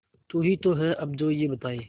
तू ही तो है अब जो ये बताए